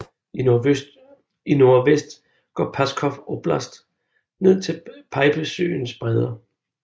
I nordvest går Pskov oblast ned til Peipussøens bredder